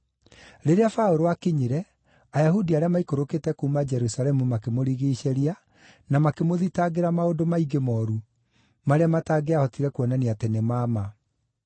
Rĩrĩa Paũlũ aakinyire, Ayahudi arĩa maikũrũkĩte kuuma Jerusalemu makĩmũrigiicĩria, na makĩmũthitangĩra maũndũ maingĩ mooru, marĩa matangĩahotire kuonania atĩ nĩ ma ma.